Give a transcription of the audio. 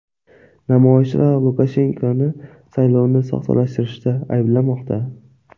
Namoyishchilar Lukashenkoni saylovni soxtalashtirishda ayblamoqda.